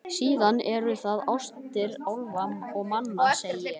Síðan eru það ástir álfa og manna, segi ég.